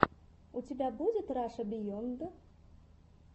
у тебя будет раша биенд